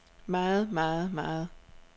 meget meget meget